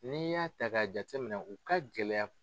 N'i y'a ta k'a jate minɛ u ka gɛlɛya